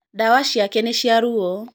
Ndawa ciake nĩ cia ruo.